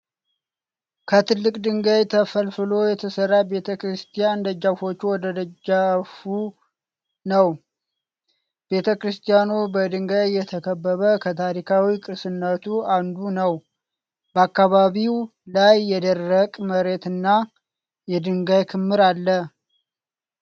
ከትልቅ ድንጋይ ተፈልፍሎ የተሰራ ቤተ ክርስቲያን፣ ደረጃዎች ወደ ደጃፉ ነው። ቤተ ክርስቲያኑ በድንጋይ የተከበበ ከታሪካዊ ቅርስነቱ አንዱ ነው። በአካባቢው ላይ የደረቅ መሬትና የድንጋይ ክምር አለ።